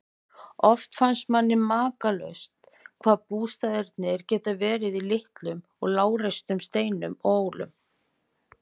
Oft finnst manni makalaust hvað bústaðirnir geta verið í litlum og lágreistum steinum og hólum.